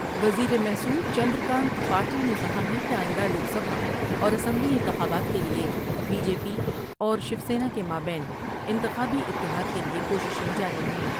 وزیر محصول چندر کانت پاٹل نے کہا ہے کہ آئندہ لوک سبھا اور اسمبلی انتخابات کے لئے بی جے پی اور شیوسینا کے مابین انتخابی اتحاد کے لئے کوششیں جاری ہیں ۔